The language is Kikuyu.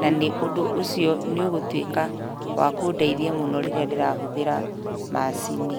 na nĩ ũndũ ũcio nĩ ũgũtuĩka wa kũndeithia mũno rĩrĩa ndĩrahũthĩra macini.